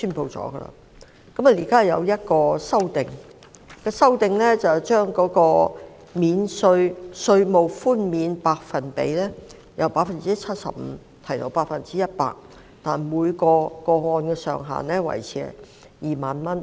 現在當局提出一項修正案，把稅務寬免的百分比由 75% 提高至 100%， 但每宗個案的上限維持在2萬元。